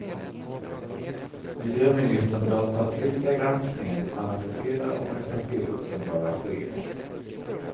Miljöministern bör ta till sig granskningen, analysera och rätta till uppenbara fel.